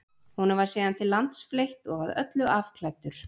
honum var síðan til lands fleytt og að öllu afklæddur